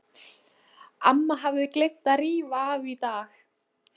Amma hafði gleymt að rífa af í dag.